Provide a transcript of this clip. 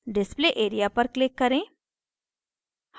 display area पर click करें